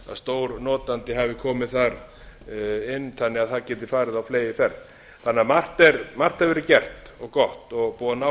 stórnotandi hafi komið þar inn þannig að það geti farið á fleygiferð margt hefur því verið gert og gott og búið að